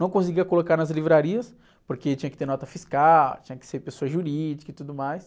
Não conseguia colocar nas livrarias, porque tinha que ter nota fiscal, tinha que ser pessoa jurídica e tudo mais.